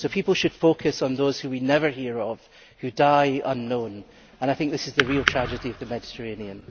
So people should focus on those who we never hear of who die unknown, and I think this is the real tragedy of the Mediterranean.